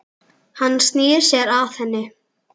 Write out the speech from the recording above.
Hann snýr sér að henni.